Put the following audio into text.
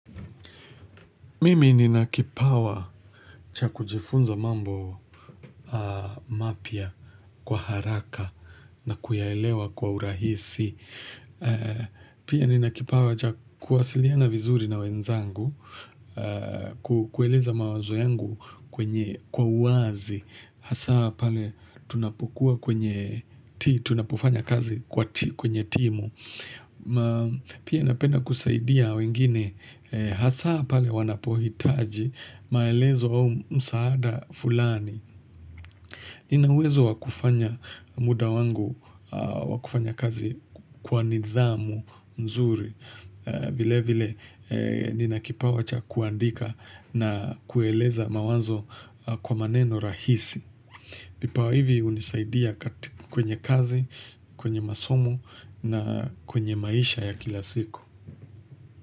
Mimi nina kipawa cha kujifunza mambo mapya kwa haraka na kuyaelewa kwa urahisi. Pia nina kipawa cha kuwasiliana vizuri na wenzangu, ku kueleza mawazo yangu kwa uwazi. Hasaa pale tunapokua kwenye ti, tunapofanya kazi kwa ti, kwenye timu. Pia napenda kusaidia wengine hasaa pale wanapohitaji maelezo au msaada fulani. Nina uwezo wa kufanya muda wangu wa kufanya kazi kwa nidhamu mzuri vile vile nina kipawa cha kuandika na kueleza mawazo kwa maneno rahisi. Vipawa hivi hunisaidia kwenye kazi, kwenye masomo na kwenye maisha ya kila siku.